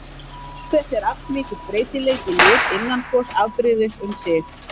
Auk þess er allmikill breytileiki í lit innan hvors afbrigðis um sig.